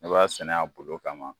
Ne b'a sɛnɛ a bolo kama